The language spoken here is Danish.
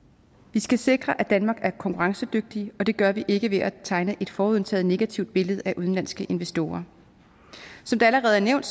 vi skal sikre at danmark er konkurrencedygtigt og det gør vi ikke ved at tegne et forudindtaget negativt billede af udenlandske investorer som det allerede er nævnt